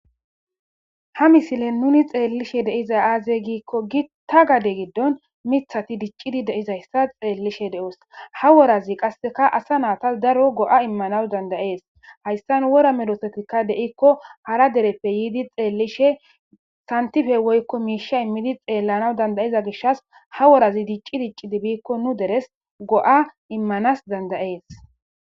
ha misile nuni xeellishe deiza aaze giikko gita gade giddon mithati diccidi deizayssa xeellishe de7os ha worazi qasseka asa naatas daro go7a immanaw dandayees haystan wora medosotika deikko hara dereppe yiidi xeellishe santife woykko miisha immidi xeellanaw dandayiza gishas ha worazi dicci dicci dibiikko nu deres go7a immanas dandayees